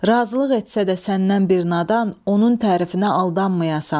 Razılıq etsə də səndən bir nadan, onun tərifinə aldanmayasan.